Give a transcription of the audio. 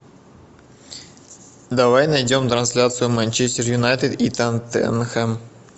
давай найдем трансляцию манчестер юнайтед и тоттенхэм